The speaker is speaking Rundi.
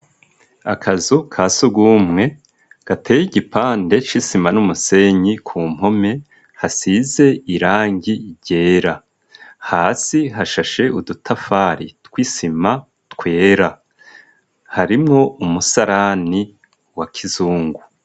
akazu ka sugumwe gateye igipande c'isima n'umusenyi ku mpome hasize irangi ryera . Hasi hashashe udutafari twisima twera. Harimwo umusarani wa kizungu.